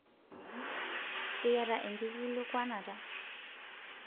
iyata enkikilikuanata?